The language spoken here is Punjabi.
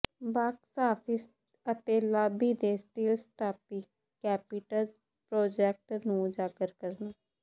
ਬਾਕਸ ਆਫਿਸ ਅਤੇ ਲਾਬੀ ਤੇ ਸਟੀਲ ਸਟਾਪੀ ਕੈਪੀਟਜ ਪ੍ਰੋਜੈਕਟ ਨੂੰ ਉਜਾਗਰ ਕਰਨਾ